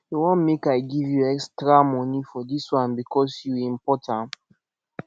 you wan make i give you you extra money for this one because you import am